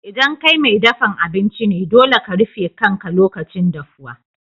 ldan kai mai dafan abinci ne, dolle ka rufe kan ka lokacin dafuwa.